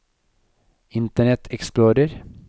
internet explorer